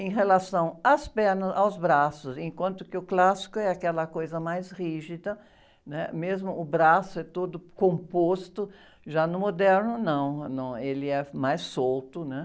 Em relação às pernas, aos braços, enquanto que o clássico é aquela coisa mais rígida, né? Mesmo o braço é todo composto, já no moderno não, ele é mais solto, né?